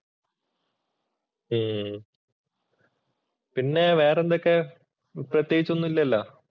ഉം പിന്നെ വേറെ എന്തൊക്കെ പ്രത്യേകിച്ച് ഒന്നും ഇല്ലല്ലോ